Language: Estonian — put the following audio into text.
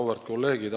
Auväärt kolleegid!